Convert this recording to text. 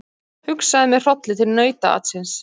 Hugsaði með hrolli til nautaatsins.